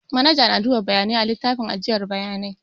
Manaja na duba bayanai a littafin ajiyar bayanai